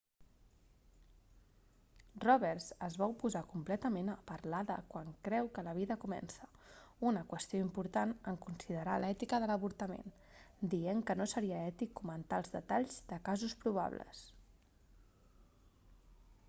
roberts es va oposar completament a parlar de quan creu que la vida comença una qüestió important en considerar l'ètica de l'avortament dient que no seria ètic comentar els detalls de casos probables